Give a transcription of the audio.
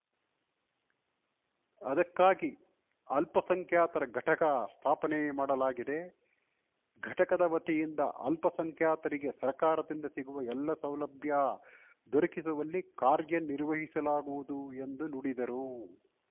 ಅದಕ್ಕಾಗಿ ಅಲ್ಪಸಂಖ್ಯಾತರ ಘಟಕ ಸ್ಥಾಪನೆ ಮಾಡಲಾಗಿದೆ ಘಟಕದ ವತಿಯಿಂದ ಅಲ್ಪಸಂಖ್ಯಾತರಿಗೆ ಸರ್ಕಾರದಿಂದ ಸಿಗುವ ಎಲ್ಲಾ ಸೌಲಭ್ಯ ದೊರಕಿಸುವಲ್ಲಿ ಕಾರ್ಯ ನಿರ್ವಹಿಸಲಾಗುವುದು ಎಂದು ನುಡಿದರು